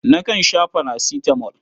Nakan sha farasitamol.